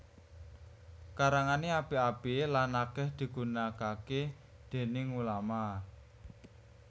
Karangané apik apik lan akèh digunakaké déning ulama